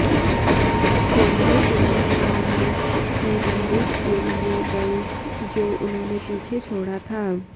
Henley तुरंत Carl की बंदूक के लिए गए जो उन्होंने पीछे छोड़ा था